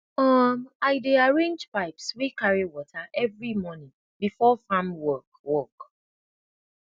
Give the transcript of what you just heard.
um i dey arrange pipes wey carri wata everi mornin befor farm work work